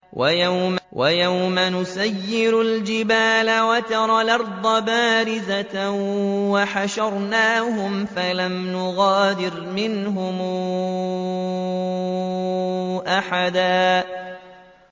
وَيَوْمَ نُسَيِّرُ الْجِبَالَ وَتَرَى الْأَرْضَ بَارِزَةً وَحَشَرْنَاهُمْ فَلَمْ نُغَادِرْ مِنْهُمْ أَحَدًا